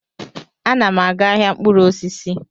Ana m aga ahịa mkpụrụ osisi.